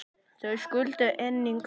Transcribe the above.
Þau skildu einnig.